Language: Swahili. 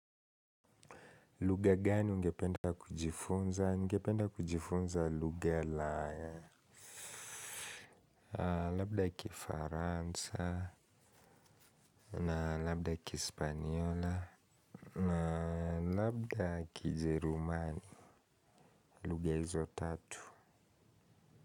Lugha gani ungependa kujifunza? Ningependa kujifunza lugha la. Labda kifaransa, na labda kihispaniola, na labda kijerumani. Lugha hizo tatu.